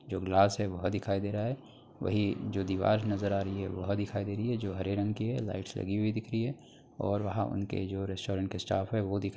जो ग्लास है वह दिखाई दे रहा है। वही जो दीवार नजर आ रही है वह दिखाई दे रही है जो हरे रंग की है। लाइट्स लगी हई दिख रही है और वहां उनके जो रेस्टोरेंट के स्टाफ़ है वो दिख --